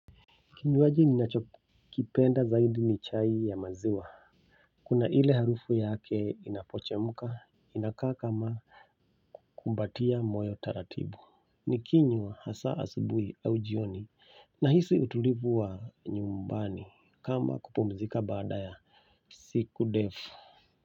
Kinywaji ninachokipenda zaidi ni chai ya maziwa. Kuna ile harufu yake inapochemka inakaa kama kumbatia moyo taratibu. Nikinywa hasa asubuhi au jioni nahisi utulivu wa nyumbani kama kupumzika baada ya siku ndefu.